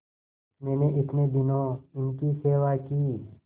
मैंने इतने दिनों इनकी सेवा की